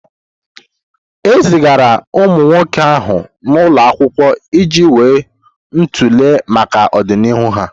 E zigara ụmụ nwoke ahụ n'ụlọ akwụkwọ iji wuo ntọala maka ọdịnihu ha.